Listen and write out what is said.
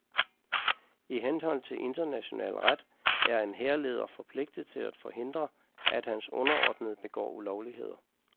I henhold til international ret er en hærleder forpligtet til at forhindre, at hans underordnede begår ulovligheder.